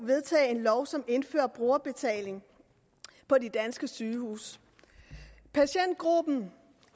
vedtage en lov som indfører brugerbetaling på de danske sygehuse patientgruppen